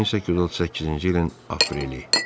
1838-ci ilin apreli.